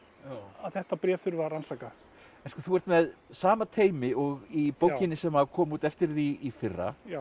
að þetta bréfi þurfi að rannsaka þú ert með sama teymi og í bókinni sem kom út eftir þig í fyrra já